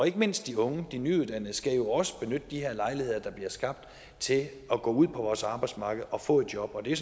ikke mindst de unge de nyuddannede skal jo også benytte de her lejligheder der bliver skabt til at gå ud på vores arbejdsmarked og få et job og det er